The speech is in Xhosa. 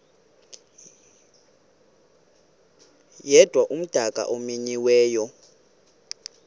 yedwa umdaka omenyiweyo